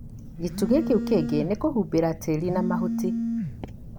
gĩtugĩ kĩu kĩngĩ nĩ ni kũhumbĩra tĩri na mahuti.